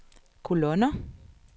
kolonner